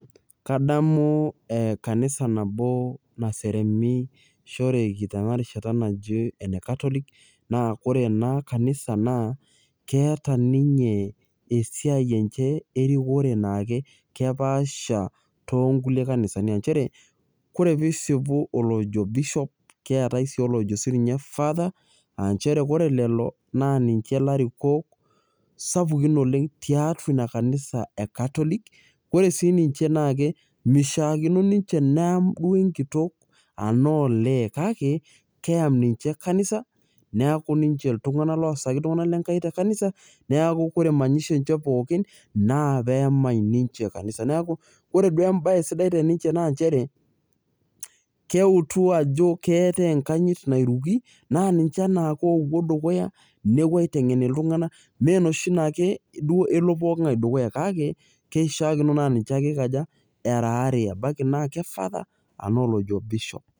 Kadamu ee kanisa nabo naseremishoreki tenarishata naji enecatholic naa ore ena kanisa keeta ninche esiai enye erikore aa kepaasha tonkulie kanisani aa nchere koree pisipu olojo bishop kiatae si sininye olojo father aa nchere ore lelo na niche larikok sapukin tiatua inakanisa e katolik, ore si ninche naa mishakino ninche neamu enkitok anaa olee kake keam ninche kanisa neaku ninche ltunganak ninche oasaki ltunganak lenkai tekanisa neaku koree manyisho enye pookin naa peyamai ninche kanisa neaku ore embae sidai teninche na nchere keutu ajo keatai enkanyit nairuki na ninche opuo dukuya nepuo aitengen ltunganak, menoshi na kelo pooki tungani dukuya, kake keishakino na ninche ake eikaja eraa aare, ebaki naa ke father arashu olojo bishop.